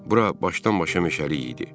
Bura başdan-başa meşəlik idi.